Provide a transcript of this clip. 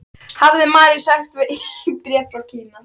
hafði Mary sagt í bréfi frá Kína.